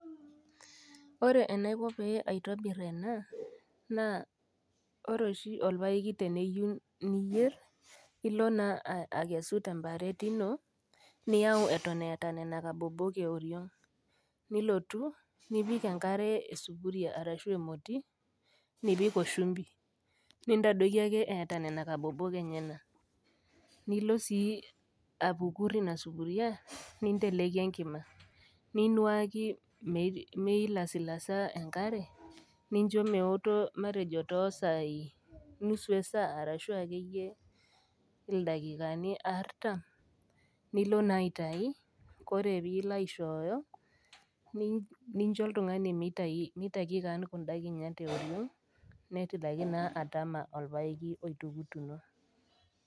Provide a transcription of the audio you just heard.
Ore enaiko pee aitobir ena naa ore oshi olpaeki tiniyou niyer, ilo naa akesu temparet ino niyau eton eata nena kabobok e oring', nilotu, nipik enkare esupuria arashu emoti nipik o shumbi, nitadoiki ake eata nena kabobok enyena, nilo sii apukur ina supuria ninteleiki enkima, niinuaki meilasilasa enkare, nincho meoto matejo too isaai nusu esaa arashu ake iyie ildakikani artam, nilo naa aitayu, ore ppiilo aishooyo, nincho oltung'ani meitaki kaan kunda kinyat e oriong', netilaki naa atama olpaeki oitukutuno.